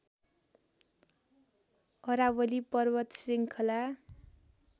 अरावली पर्वत श्रृखला